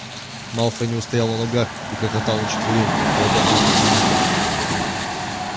малфой не устоял на ногах и хохотал на четвереньках колотя кулаком по земле